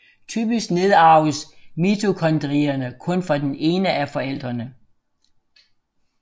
Typisk nedarves mitokondrierne kun fra den ene af forældrene